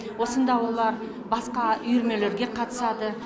осында олар басқа үйірмелерге қатысады